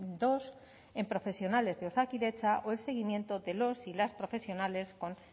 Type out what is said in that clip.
dos en profesionales de osakidetza o el seguimiento de los y las profesionales con